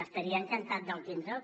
estaria encantat de tindre’l